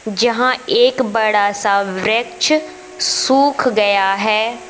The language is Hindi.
जहां एक बड़ा सा वृक्ष सुख गया है।